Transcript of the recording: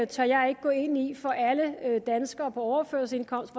tør jeg ikke at gå ind i for alle danskere på overførselsindkomst